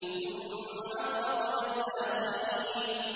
ثُمَّ أَغْرَقْنَا الْآخَرِينَ